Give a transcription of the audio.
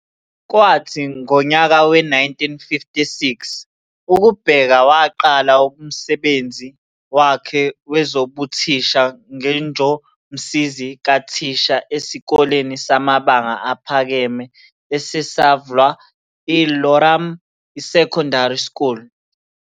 Kwathi ngonyaka we-1956 uKubheka waqala umsebenzi wakhe wezobuthisha ngenjomsizi kathisha esikoleni samabanga aphakeme esesavlwa i-Loram Secondary School